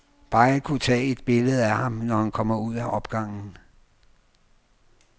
Bare jeg kunne tage et billede af ham, når han kommer ud af opgangen.